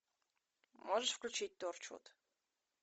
можешь включить торчвуд